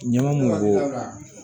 Ɲama b'u ka